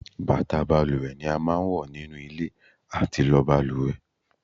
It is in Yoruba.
Bàtà balùwẹ̀ ni a máa ń wọ nínú ilé àti lọ balùwẹ̀